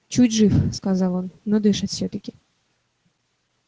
чуть жив сказал он но дышит всё-таки